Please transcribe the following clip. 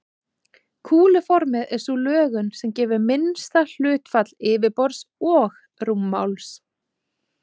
Kúluformið er sú lögun sem gefur minnsta hlutfall yfirborðs og rúmmáls.